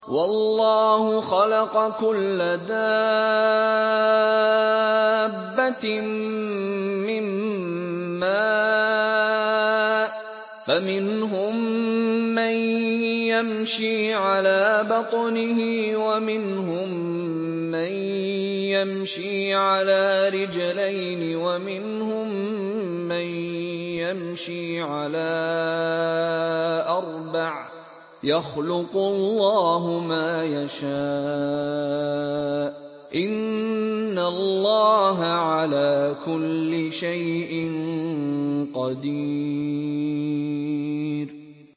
وَاللَّهُ خَلَقَ كُلَّ دَابَّةٍ مِّن مَّاءٍ ۖ فَمِنْهُم مَّن يَمْشِي عَلَىٰ بَطْنِهِ وَمِنْهُم مَّن يَمْشِي عَلَىٰ رِجْلَيْنِ وَمِنْهُم مَّن يَمْشِي عَلَىٰ أَرْبَعٍ ۚ يَخْلُقُ اللَّهُ مَا يَشَاءُ ۚ إِنَّ اللَّهَ عَلَىٰ كُلِّ شَيْءٍ قَدِيرٌ